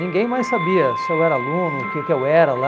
Ninguém mais sabia se eu era aluno, o que que eu era lá.